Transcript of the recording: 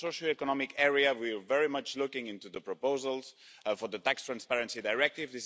In the socio-economic area, we are very much looking into the proposals for the tax transparency directive.